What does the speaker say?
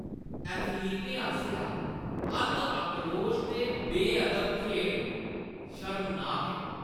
एथलीटें आसेआ अत्त आक्रोश ते बेअदब खेढ शर्मनाक ऐ।